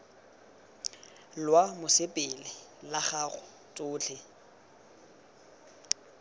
lwa mosepele la gago tsotlhe